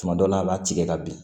Tuma dɔw la a b'a tigɛ ka bin